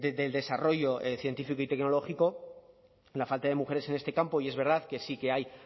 del desarrollo científico y tecnológico la falta de mujeres en este campo y es verdad que sí que hay